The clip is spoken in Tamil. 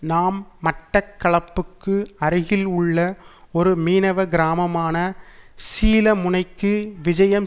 நாம் மட்டக்களப்புக்கு அருகில் உள்ள ஒரு மீனவ கிராமமான சீலமுனைக்கு விஜயம்